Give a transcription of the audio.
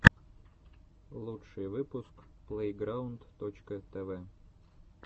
лучший выпуск плейграунд точка тв